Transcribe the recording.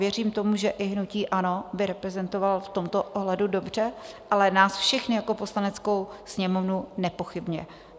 Věřím tomu, že i hnutí ANO by reprezentoval v tomto ohledu dobře, ale nás všechny jako Poslaneckou sněmovnu nepochybně.